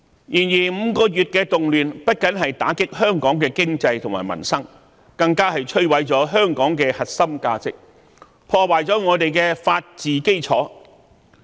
然而 ，5 個月的動亂不僅打擊香港的經濟和民生，更摧毀了香港的核心價值，破壞了我們的法治基礎。